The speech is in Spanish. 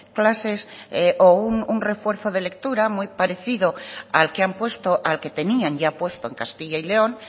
clases o un refuerzo de lectura muy parecido al que han puesto al que tenían ya puesto en castilla y león